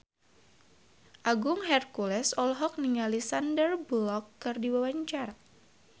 Agung Hercules olohok ningali Sandar Bullock keur diwawancara